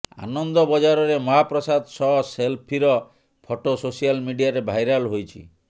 ଆନନ୍ଦ ବଜାରରେ ମହାପ୍ରସାଦ ସହ ସେଲଫିର ଫଟୋ ସୋସିଆଲ ମିଡିଆରେ ଭାଇରାଲ୍ ହୋଇଛି